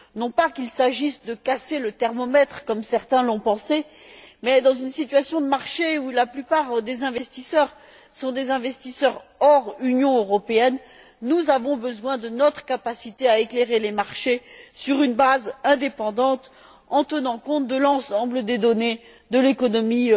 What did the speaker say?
Non pas qu'il s'agisse de casser le thermomètre, comme certains l'ont pensé, mais, dans une situation de marché où la plupart des investisseurs sont des investisseurs hors Union européenne, nous avons besoin de notre capacité d'éclairer les marchés, sur une base indépendante, en tenant compte de l'ensemble des données de l'économie